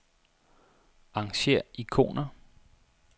Arrangér ikoner.